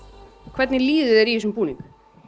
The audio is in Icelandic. hvernig líður þér í þessum búning